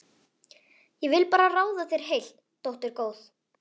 Ég vil bara ráða þér heilt, dóttir góð.